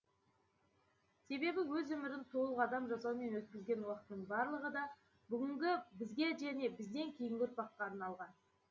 себебі өз өмірін толық адам жасаумен өткізген уақытының барлығы да бүгінгі бізге және бізден кейінгі ұрпаққа арналған